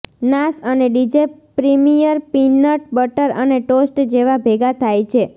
નાસ અને DJ Premier peanut butter અને ટોસ્ટ જેવા ભેગા થાય છે